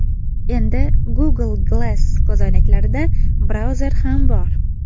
Endi Google Glass ko‘zoynaklarida brauzer ham bor.